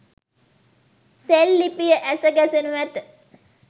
සෙල් ලිපිය ඇස ගැසෙණු ඇත.